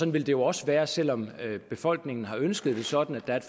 vil det også være selv om befolkningen har ønsket det sådan at